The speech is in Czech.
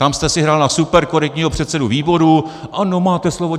Tam jste si hrál na superkorektního předsedu výboru - Ano, máte slovo.